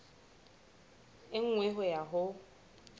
e nngwe ho ya ho